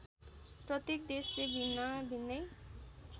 प्रत्येक देशले भिन्नाभिन्नै